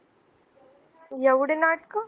एवढी नाटक